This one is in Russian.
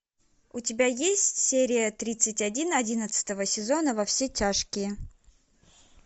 у тебя есть серия тридцать один одиннадцатого сезона во все тяжкие